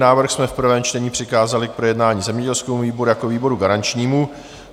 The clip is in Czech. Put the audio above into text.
Návrh jsme v prvém čtení přikázali k projednání zemědělskému výboru jako výboru garančnímu.